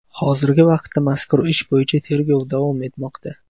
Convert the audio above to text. Hozirgi vaqtda mazkur ish bo‘yicha tergov davom etmoqda.